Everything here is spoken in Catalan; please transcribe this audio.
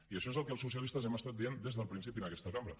i això és el que els socialistes hem dit des del principi en aquesta cambra